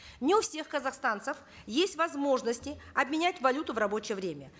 не у всех казахстанцев есть возможность обменять валюту в рабочее время